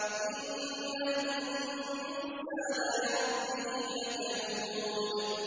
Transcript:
إِنَّ الْإِنسَانَ لِرَبِّهِ لَكَنُودٌ